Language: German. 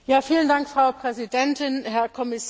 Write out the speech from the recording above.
Frau Präsidentin, Herr Kommissar!